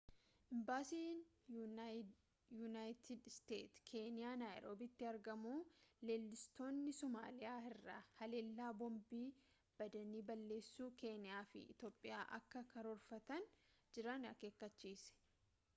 imbaasiin yuunaayitid isteetsii keeniyaa naayiroobiitti argamu leellistoonni somaaliyaa irraa haleellaa boombii badanii balleessuu keeniyaa fi iitoophiyaatti akka karoorfatanii jiran akeekkachiise